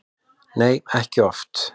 Nei, ekki oft.